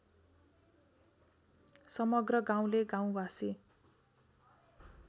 समग्र गाउँले गाउँवासी